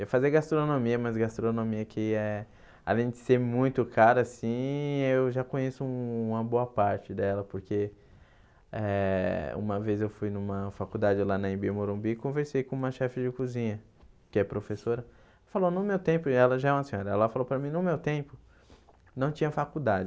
Eu fazia gastronomia, mas gastronomia que é além de ser muito cara assim, eu já conheço uma boa parte dela, porque eh uma vez eu fui numa faculdade lá na Imbi-Morumbi e conversei com uma chefe de cozinha, que é professora, falou no meu tempo, e ela já é uma senhora, ela falou para mim no meu tempo, não tinha faculdade.